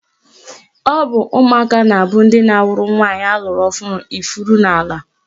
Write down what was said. Ọ bụ ụmụaka na-abụ ndị na-awụrụ nwaanyị alụrụ ọhụrụ ifuru n'ala.